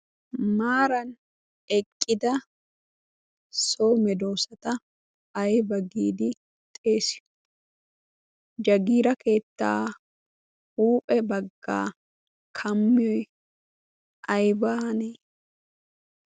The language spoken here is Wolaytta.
Maaran eqqida so medoosata ayba giidi xeesiyo? Jagiira keettaa huuphe baggaa kamiyoy aybaanee?